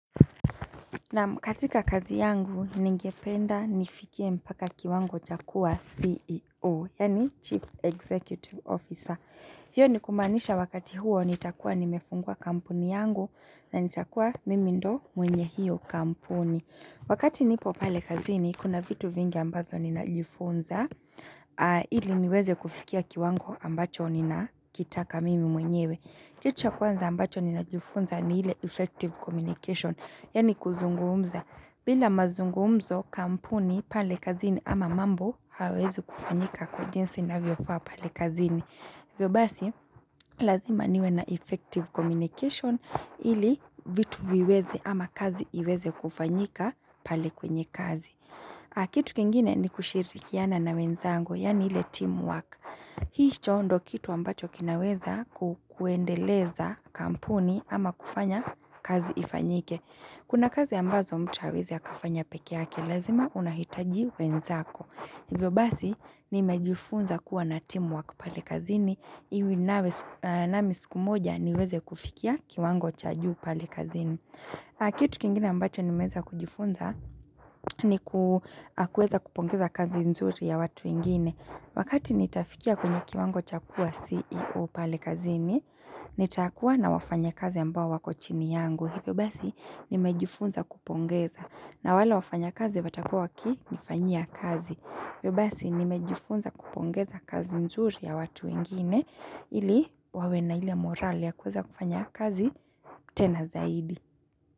Naam katika kazi yangu, ningependa nifikie mpaka kiwango cha kua CEO, yaani Chief Executive Officer. Hiyo ni kumaanisha wakati huo nitakua nimefungua kampuni yangu na nitakua mimi ndo mwenye hiyo kampuni. Wakati nipo pale kazini, kuna vitu vingi ambavyo ninajufunza, ili niweze kufikia kiwango ambacho ninakitaka mimi mwenyewe. Kitu ya kwanza ambacho ninajifunza ni ile effective communication, yaani kuzungumza. Bila mazungumzo kampuni pale kazini ama mambo hayawezi kufanyika kwa jins inavyofaa pale kazini. Hivyo basi, lazima niwe na effective communication ili vitu viweze ama kazi iweze kufanyika pale kwenye kazi. Kitu kingine ni kushirikiana na wenzangu, yaani ile teamwork. Hicho ndo kitu ambacho kinaweza kuendeleza kampuni ama kufanya kazi ifanyike. Kuna kazi ambazo mtu hawezi ya kafanya peke yake, lazima unahitaji wenzako. Hivyo basi, nimejifunza kuwa na timu wako pale kazini, ili nami siku moja niweze kufikia kiwango cha juu pale kazini. Kitu kingine ambacho nimeweza kujifunza ni kuweza kupongeza kazi nzuri ya watu wengine. Wakati nitafikia kwenye kiwango cha kuwa CEO pale kazini, nitakuwa na wafanyakazi ambao wako chini yangu. Hivyo basi, nimejifunza kupongeza na wale wafanyakazi watakuwa wakinifanyia kazi. Hivyo basi nimejifunza kupongeza kazi nzuri ya watu wengine ili wawena ili morali ya kuweza kufanya kazi tena zaidi.